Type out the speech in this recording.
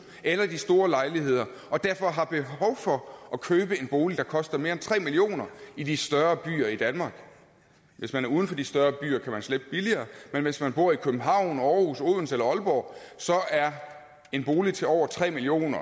eller de store lejligheder og derfor har behov for at købe en bolig der koster mere end tre million kroner i de større byer i danmark hvis man er uden for de større byer kan man slippe billigere men hvis man bor i københavn aarhus odense eller aalborg er en bolig til over tre million